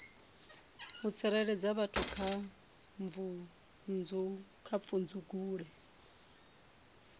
u tsireledza vhathu kha pfudzungule